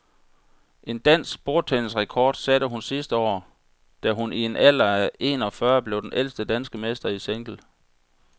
En anden dansk bordtennisrekord satte hun sidste år, da hun i en alder af en og fyrre år blev den ældste danske mester i single.